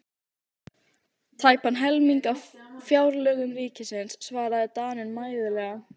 Tæpan helming af fjárlögum ríkisins, svaraði Daninn mæðulega.